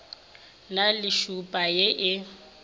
na le tšhupa ye e